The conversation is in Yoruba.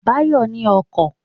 Báyọ̀ ní ọkọ̀